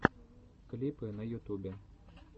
клипы на ютубе